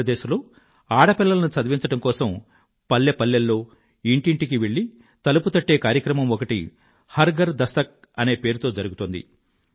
మధ్య ప్రదేశ్ లో ఆడపిల్లలను చదివించడం కోసం పల్లె పల్లెలో ఇంటి ఇంటికీ వెళ్ళి తలుపు తట్టే కార్యక్రమం ఒకటి హర్ ఘర్ దస్తక్ అనే పేరుతో జరుగుతోంది